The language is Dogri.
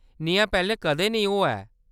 नेहा पैह्‌‌‌लें कदें नेईं होआ ऐ।